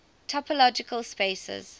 topological spaces